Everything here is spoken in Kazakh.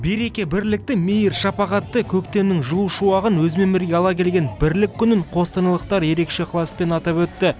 береке бірлікті мейір шапағатты көктемнің жылу шуағын өзімен бірге ала келген бірлік күнін қостанайлықтар ерекше ықыласпен атап өтті